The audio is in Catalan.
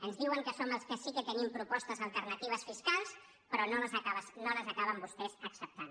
ens diuen que som els que sí que tenim propostes alternatives fiscals però no les acaben vostès acceptant